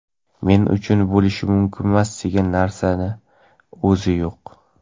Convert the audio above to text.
men uchun "bo‘lishi mumkinmas"degan narsani o‘zi yo‘q.